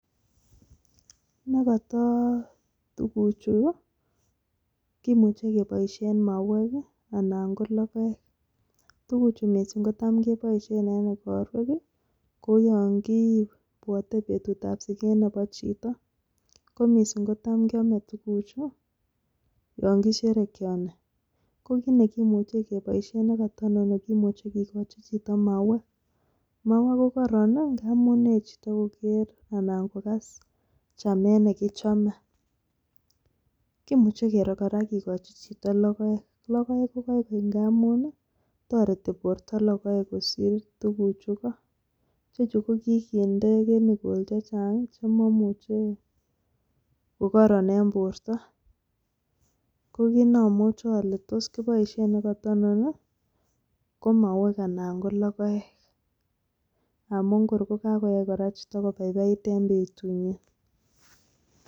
Nekoto tuguchu kimuche keboishien mauwek anan ko logoek. Tuguchu missing kotamkeboishien en igorwek kou yon kibwote betutab siget nebo chito, ko missing kotamkiome tuguchuton yon kisherekeoni, kokit nekimuche nekotononi kimuche keboishien kikochi chito mauek. Mauek KO koron i,ngamun yoe chito kogeer anan ko kogas chametnekichome. Kimuche kora kigochi chito logoek, logoek KO koikoi ngamun toretii chito logoek kosiir tuguchuko ichechu ko kinde chemicals chechang chemomuche kokokoron en bortoo. Ko kit neomuche ole tos kiboishien nekata inoni ko mauwek anan ko logoek, ngamun korkakoyai chito kobaibai en betunyiin